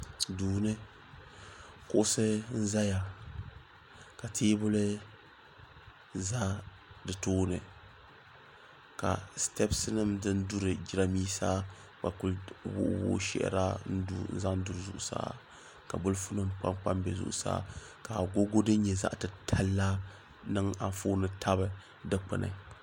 Duuni kuɣusi n zaya ka teebuli za di tooni ka sitepsi nima din duri jirambisa gba kuli wuhi wuhi shehira n zaŋ duri zuɣusaa ka bolifu nima kpabi kpabi be zuɣusaa ka agogo din nyɛ zaɣa titali la ni anfooni tabi dikpini.